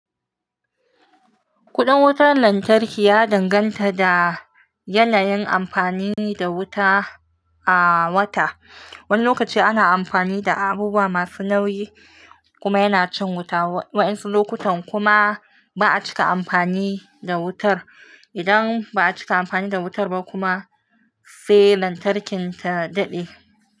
Kudin wutar lantarki ya danganta da yanayin amfani da wuta a wata. Wani lokaci ana amfani da abubuwa masu nauyi kuma yana cin wuta, waɗansu lokutan kuma ba'a cika amfani da wutar. Idan ba'a cika amfani da wutar ba kuma sai lantarkin ta daɗe.